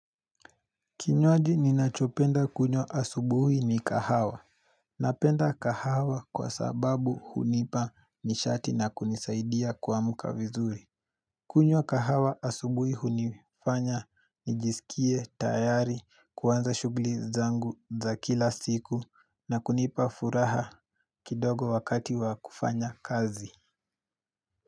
Kinywaji ninachopenda kunywa asubuhi ni kahawa. Napenda kahawa kwa sababu hunipa nishati na kunisaidia kwamka vizuri. Kunywa kahawa asubuhi hunifanya nijisikie tayari kuanza shugli zangu za kila siku na kunipa furaha kidogo wakati wa kufanya kazi.